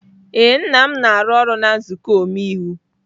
Ee, nna m na-arụ ọrụ na nzuko omeiwu.